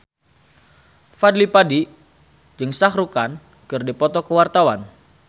Fadly Padi jeung Shah Rukh Khan keur dipoto ku wartawan